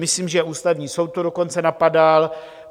Myslím, že Ústavní soud to dokonce napadal.